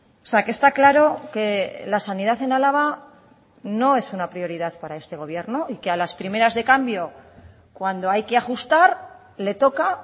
o sea que está claro que la sanidad en álava no es una prioridad para este gobierno y que a las primeras de cambio cuando hay que ajustar le toca